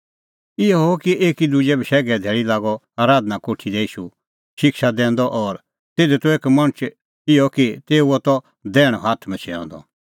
इहअ हुअ कि एकी दुजी बशैघे धैल़ी लागअ आराधना कोठी दी ईशू शिक्षा दैंदअ और तिधी त एक मणछ इहअ कि तेऊओ त दैहणअ हाथ मछैंअ द